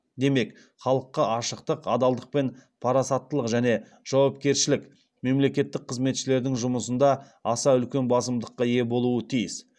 демек халыққа ашықтық адалдық пен парасаттылық және жауапкершілік мемлекеттік қызметшілердің жұмысында аса үлкен басымдыққа ие болуы тиіс